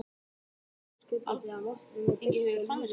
BENEDIKT: Alþingi hefur samvisku.